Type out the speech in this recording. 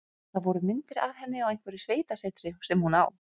Það voru myndir af henni á einhverju sveitasetri sem hún á.